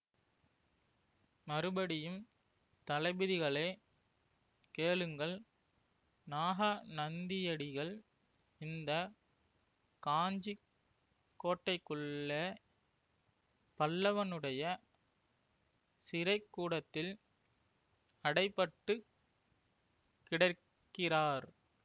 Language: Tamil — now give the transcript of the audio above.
மறுபடியும் தளபதிகளே கேளுங்கள் நாகாநந்தியடிகள் இந்த காஞ்சி கோட்டைக்குள்ளே பல்லவனுடைய சிறைக்கூடத்தில் அடைபட்டுக் கிடக்கிறார்